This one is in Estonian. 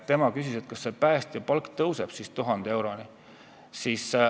Tema küsis, kas päästja palk tõuseb 1000 euroni.